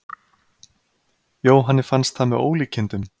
Jóhanni fannst það með ólíkindum.